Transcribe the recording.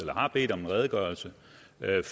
har bedt om en redegørelse